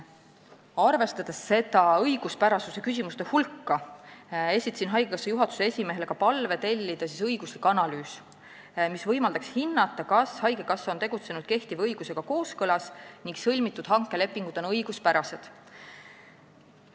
Arvestades seda tulemust, vaidlustuste ja õiguspärasusega seotud küsimuste hulka, esitasin haigekassa juhatuse esimehele palve tellida õiguslik analüüs, mis võimaldaks hinnata, kas haigekassa on tegutsenud kehtiva õigusega kooskõlas ning sõlmitud hankelepingud on õiguspärased.